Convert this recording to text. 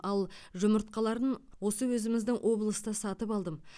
ал жұмыртқаларын осы өзіміздің облыста сатып алдым